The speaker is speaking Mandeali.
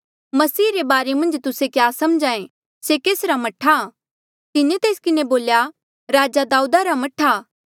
मसीह रे बारे मन्झ तुस्से क्या समझ्हा ऐें से केसरा मह्ठा तिन्हें तेस किन्हें बोल्या राजा दाऊदा रा मह्ठा